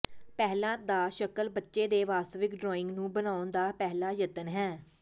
ਪਹਿਲਾਂ ਦਾ ਸ਼ਕਲ ਬੱਚੇ ਦੇ ਵਾਸਤਵਿਕ ਡਰਾਇੰਗ ਨੂੰ ਬਣਾਉਣ ਦਾ ਪਹਿਲਾ ਯਤਨ ਹੈ